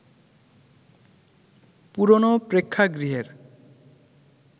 পুরোনো প্রেক্ষাগৃহের